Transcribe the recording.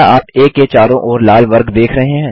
क्या आप आ के चारों ओर लाल वर्ग देख रहे हैं